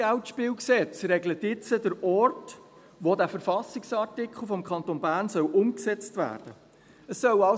Unser KGSG regelt jetzt den Ort, wo dieser Verfassungsartikel des Kantons Bern umgesetzt werden soll.